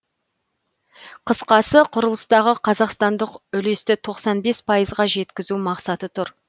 қысқасы құрылыстағы қазақстандық үлесті тоқсан бес пайызға жеткізу мақсаты тұр